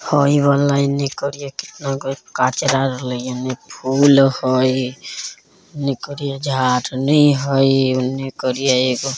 हई वाला एने करिया कितना कचरा रहली एने फूल हई एने करिया --